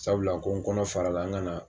Sabula ko n kɔnɔ farala n kana